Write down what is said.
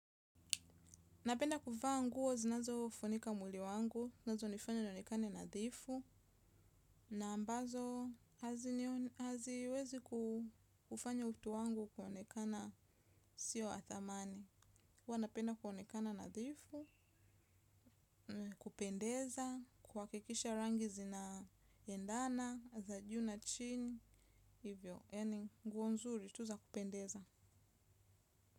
Napenda kuvaa nguo, zinazo funika mwili wangu, zinazo nifanya nionekane nadhifu, na ambazo haziwezi kufanya utu wangu kuonekana sio wa thamani. Huwa napenda kuonekana nadhifu, kupendeza, kuhakikisha rangi zina endana, za ju na chini, hivyo, yani guo nzuri, tu za kupendeza.